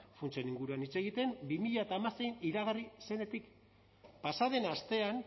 funtsen inguruan hitz egiten bi mila hamasein iragarri zenetik pasa den astean